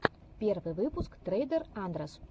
первый выпуск трейдер андрэс